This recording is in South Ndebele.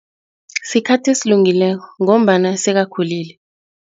Sikhathi esilungileko ngombana sekakhulile.